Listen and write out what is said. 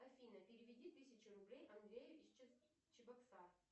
афина переведи тысячу рублей андрею из чебоксар